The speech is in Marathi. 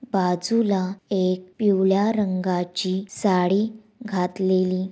बाजूला एक पिवळ्या रंगाची साडी घातलेली--